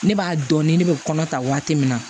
Ne b'a dɔn ni ne bɛ kɔnɔ ta waati min na